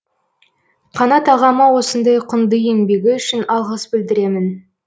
қанат ағама осындай құнды еңбегі үшін алғыс білдіремін